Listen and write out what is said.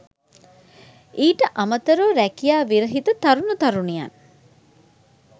ඊට අමතරව රැකියා විරහිත තරුණ තරුණියන්